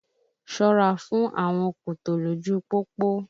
Ṣọ́ra fún àwọn kòtò lójú pópó!